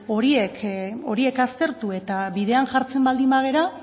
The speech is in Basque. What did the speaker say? horiek aztertu eta bidean jartzen baldin bagara